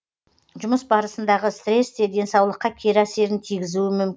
жұмыс барысындағы стресс те денсаулыққа кері әсерін тигізуі мүмкін